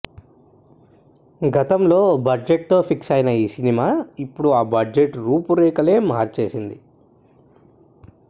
గతంలో ఓ బడ్జెట్ తో ఫిక్స్ అయిన ఈ సినిమా ఇప్పుడు ఆ బడ్జెట్ రూపురేఖలు మార్చేసింది